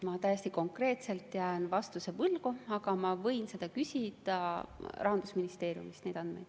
Ma jään konkreetse vastuse võlgu, aga ma võin küsida Rahandusministeeriumist neid andmeid.